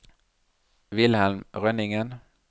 Wilhelm Rønningen